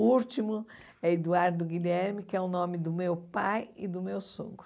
O último é Eduardo Guilherme, que é o nome do meu pai e do meu sogro.